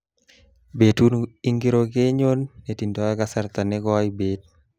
Betut ingiro kenyon ne tindoy kasarta ne koi bet